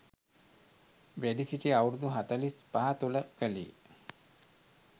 වැඩසිටි අවුරුදු හතළිස් පහ තුළ කළේ